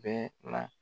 Bɛɛ la